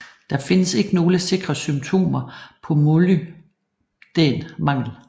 Der findes ikke nogle sikre symptomer på molybdæn mangel